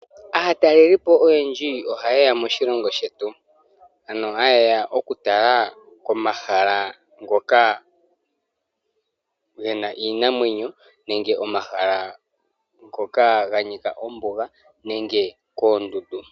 Aatalelipo oyendji ohayeya mosilongo shetu hayeya okutala komahala ngoka gena iinamwenyo nenge omahala ngoka ganika ombuga nenge koondundu.